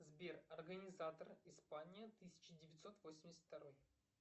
сбер организатор испания тысяча девятьсот восемьдесят второй